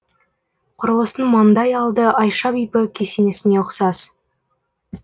құрылыстың маңдай алды айша бибі кесенесіне ұқсас